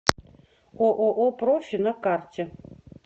ооо профи на карте